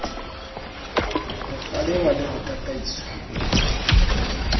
ho kgalengwa le ho tataiswa